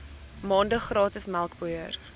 maande gratis melkpoeier